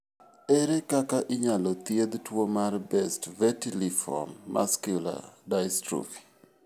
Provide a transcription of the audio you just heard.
Ere kaka inyalo thiedh tuwo mar Best vitelliform macular dystrophy?